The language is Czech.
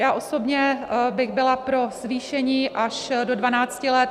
Já osobně bych byla pro zvýšení až do 12 let.